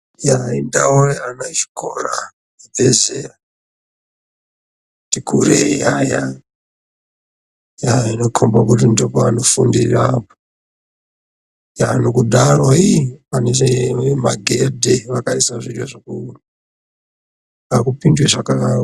Eya indau yeana echikora abve zera ati kurei aya. Eya anokomba kuti ndoopaanofundira apo. Eya nokudaro ihpakaiswe magedhe vakaisa zviya zvokupinde zvaka...